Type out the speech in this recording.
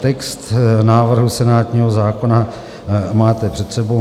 Text návrhu senátního zákona máte před sebou.